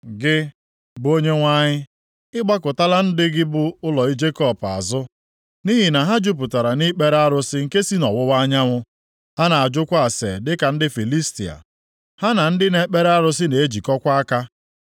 Gị, bụ Onyenwe anyị, Ị gbakụtala ndị gị, bụ ụlọ Jekọb azụ. Nʼihi na ha jupụtara nʼikpere arụsị nke si nʼọwụwa anyanwụ. Ha na-ajụkwa ase dịka ndị Filistia. Ha na ndị na-ekpere arụsị na-ejikọkwa aka.